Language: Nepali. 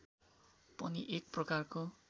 पनि एक प्रकारको